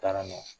Taara n'a ye